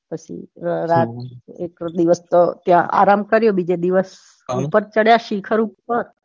પછી રાતે તો એક દિવસ તો ત્યાં આરામ કર્યો બીજે દિવસ ઉપર ચઢ્યા શિખર ઉપર